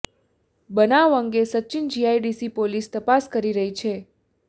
બનાવ અંગે Sachin GIDC police તપાસ કરી રહી છે